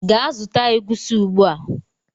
Gaa zụta egusi ugbua!